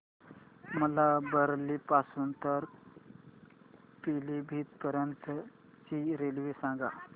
मला बरेली पासून तर पीलीभीत पर्यंत ची रेल्वे सांगा